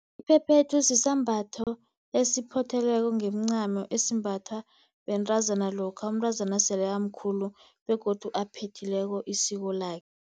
Iphephethu sisambatho esiphothelweko ngemincamo esimbathwa bentazana lokha umntazana osele amkhulu begodu aphethileko isiko lakhe.